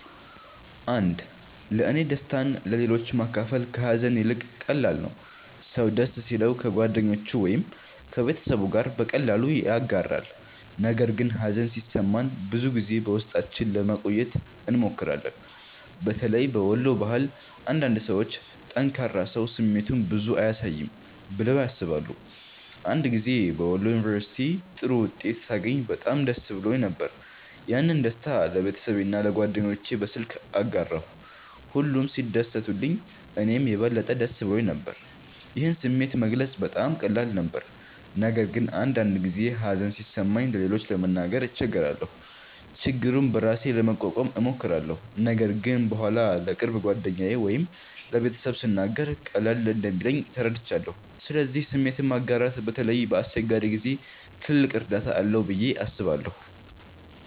1ለእኔ ደስታን ለሌሎች ማካፈል ከሀዘን ይልቅ ቀላል ነው። ሰው ደስ ሲለው ከጓደኞቹ ወይም ከቤተሰቡ ጋር በቀላሉ ያጋራል፣ ነገር ግን ሀዘን ሲሰማን ብዙ ጊዜ በውስጣችን ለማቆየት እንሞክራለን። በተለይ በወሎ ባህል አንዳንድ ሰዎች “ጠንካራ ሰው ስሜቱን ብዙ አያሳይም” ብለው ያስባሉ። አንድ ጊዜ በወሎ ዩንቨርስቲ ጥሩ ውጤት ሳገኝ በጣም ደስ ብሎኝ ነበር። ያንን ደስታ ለቤተሰቤና ለጓደኞቼ በስልክ አጋራሁ፣ ሁሉም ሲደሰቱልኝ እኔም የበለጠ ደስ ብሎኝ ነበር። ይህን ስሜት መግለጽ በጣም ቀላል ነበር። ነገር ግን አንዳንድ ጊዜ ሀዘን ሲሰማኝ ለሌሎች ለመናገር እቸገራለሁ። ችግሩን በራሴ ለመቋቋም እሞክራለሁ፣ ነገር ግን በኋላ ለቅርብ ጓደኛ ወይም ለቤተሰብ ስናገር ቀለል እንደሚለኝ ተረድቻለሁ። ስለዚህ ስሜትን ማጋራት በተለይ በአስቸጋሪ ጊዜ ትልቅ እርዳታ አለው ብዬ አስባለሁ።